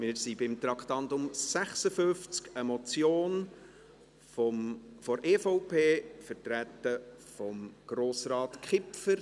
Wir sind beim Traktandum 56, einer Motion der EVP, vertreten von Grossrat Kipfer.